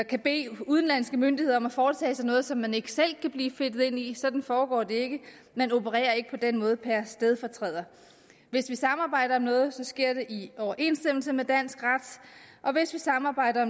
kan bede udenlandske myndigheder om at foretage sig noget som man ikke selv kan blive fedtet ind i sådan foregår det ikke man opererer ikke på den måde per stedfortræder hvis vi samarbejder om noget sker det i overensstemmelse med dansk ret og hvis vi samarbejder